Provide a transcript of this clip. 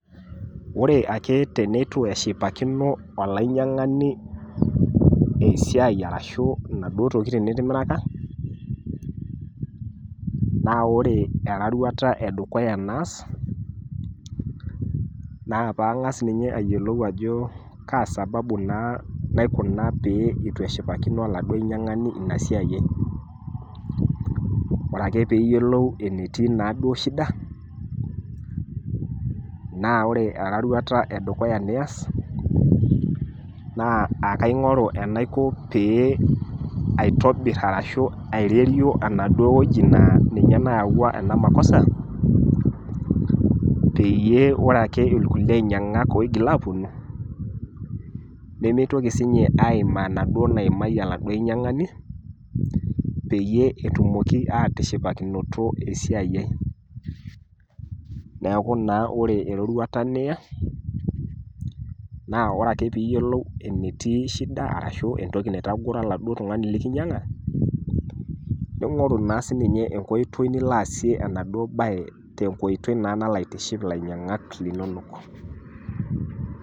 Oore aake peyie eitu eshipakino olainyiang'ani esiai arashu inaduoo tokiting nitimiraka, naa oore eroruata edukuya naas, naa peyie ang'as ninye eyiolou aajo kaa sababu naa naikuna pee eitu eshipakino oladuo ainyiang'ani ina siaia aai. Oore ake pee iyiolou enetii naduo shida naa oore eroruata edukuya nias, naa ekaing'oru enaiko pee aitobir arashu aitarioo anaduo wueji naa ninye nayawua eena makosa peyie oore aake irkulie ainyiang'ak oitoki aponu, nemeitoki sininche aimaa enaduoo naimaitie oladuo ainyiang'ani, peyie etumoki atishipakinoto esiai aai. Niaku naa oore eroruata niya, naa oore ake peyie iyiolou enetii shida arashu arashu entoki naitagoro oladuoo tung'ani lekinyiang'a, neing'oru ,naa sininye enkoitoi niilo aasie enaduo baye tenkoitoi naa nalo aitiship lainyiang'ak linonok.